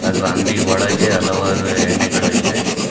ಹಾಗು ಅಂಗ್ಡಿ ಒಳಗೆ ಹಲವಾರು ಎಣ್ಣೆಗಳು ಇವೆ.